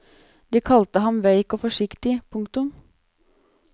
De kalte ham veik og forsiktig. punktum